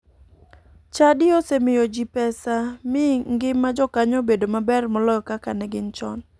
Chadi osemiyo ji pesa mi ngima jokanyo obedo maber moloyo kaka ne gin chon.